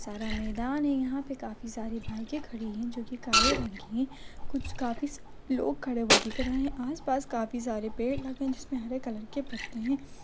सारा मैदान है यहाँ पे काफी सारे बाइके खड़ी हैं जोकि काले रंग की हैं कुछ काफी सा लोग खड़े हुए दिख रहे हैं आस-पास काफी सारे पेड़ लगे हैं जिसमे हरे कलर के पत्ते हैं।